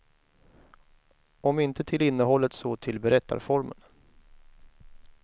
Om inte till innehållet, så till berättarformen.